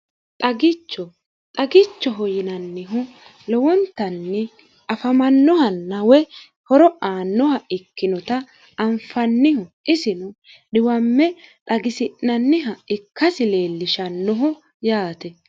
xxagichoho yinannihu lowontanni afamannoha nawe horo aannoha ikkinota anfanniho isinu dhiwamme dhagisi'nanniha ikkasi leellishannoho yaate